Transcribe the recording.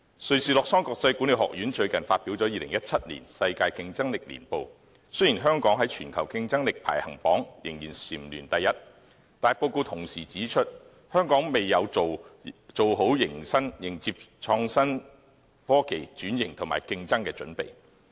瑞士洛桑國際管理發展學院最近發表了《2017年世界競爭力年報》，雖然香港在全球競爭力排行榜仍蟬聯第一位，但報告同時指出，香港未有做好迎接創新科技轉型和競爭的準備。